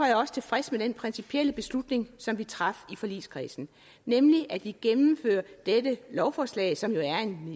jeg også tilfreds med den principielle beslutning som vi traf i forligskredsen nemlig at vi gennemfører dette lovforslag som